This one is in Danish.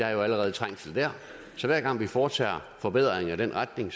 er jo allerede trængsel der så hver gang vi foretager forbedringer i den retning